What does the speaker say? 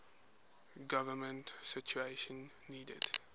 government citation needed